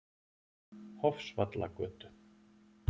Hofsvallagötu